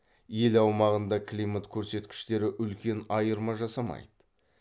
ел аумағында климат көрсеткіштері үлкен айырма жасамайды